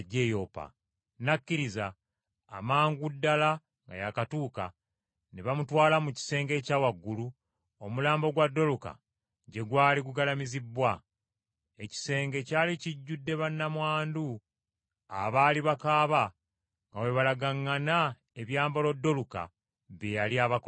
N’akkiriza. Amangu ddala nga yaakatuuka ne bamutwala mu kisenge ekya waggulu omulambo gwa Doluka gye gwali gugalamizibbwa. Ekisenge kyali kijjudde bannamwandu abaali bakaaba nga bwe balagaŋŋana ebyambalo Doluka bye yali abakoledde.